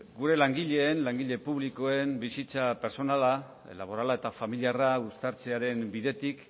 gure langile publikoen bizitza pertsonala laborala eta familiarra uztartzearen bidetik